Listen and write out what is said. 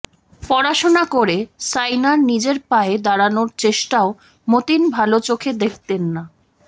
পড়াশোনা করে সাইনার নিজের পায়ে দাঁড়ানোর চেষ্টাও মতিন ভাল চোখে দেখতেন না